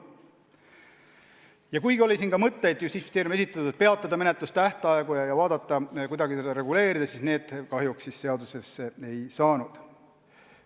Ja kuigi oli Justiitsministeeriumi esitatud mõtteid peatada menetlustähtaegu ja kuidagi seda olukorda reguleerida, need kahjuks seadusesse ei saanud.